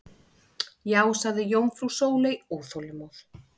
Já sagði jómfrú Sóley óþolinmóð.